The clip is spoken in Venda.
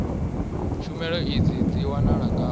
tshumelo idzi dzi wanala ngafhi